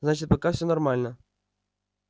значит пока всё нормально